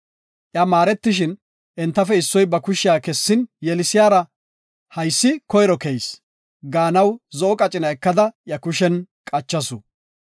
Iya maaretishin, entafe issoy ba kushiya kessin yelisiyara, “Haysi koyro keyis” gaanaw zo7o qacina ekada iya kushen qachasu.